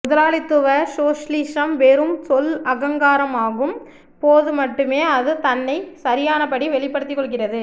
முதலாளித்துவ சோஷலிசம் வெறும் சொல் அலங்காரமாகும் போது மட்டுமே அது தன்னைச் சரியானபடி வெளிப்படுத்திக் கொள்கிறது